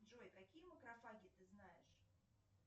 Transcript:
джой какие макрофаги ты знаешь